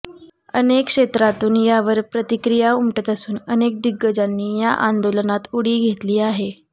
अनेक क्षेत्रातून यावर प्रतिक्रिया उमटत असून अनेक दिग्गजांनी या आंदोलनात उडी घेतली आहे